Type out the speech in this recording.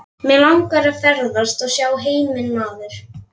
Mig langar að ferðast og sjá heiminn maður.